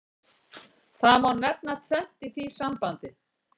Það má nefna tvennt í því sambandi.